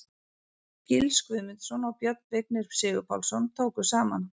Gils Guðmundsson og Björn Vignir Sigurpálsson tóku saman.